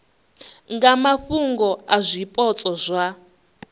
nga mafhungo a zwipotso zwa